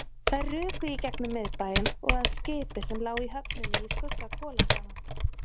Þær ruku í gegnum miðbæinn og að skipi sem lá í höfninni í skugga kolakranans.